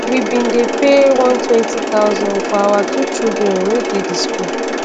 "we bin dey pay 120000 for our two children wey dey di school.